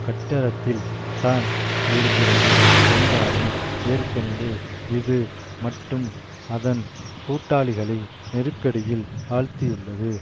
கட்டடத்தில்தான் இருக்கிறது என்றாலும் ஏற்கனவே இது மற்றும் அதன் கூட்டாளிகளை நெருக்கடியில் ஆழ்த்தியுள்ளது